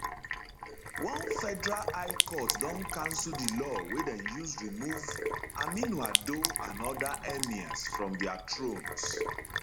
one federal high court don cancel di law wey dem use remove um aminu ado and oda emirs from dia thrones